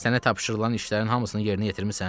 Sənə tapşırılan işlərin hamısını yerinə yetirmisən?